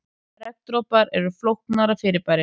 Regndropar eru flóknara fyrirbæri.